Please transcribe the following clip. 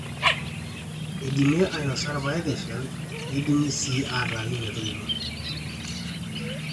eidimi ainosa irpaek eshal neidimi sii aataanyu metoito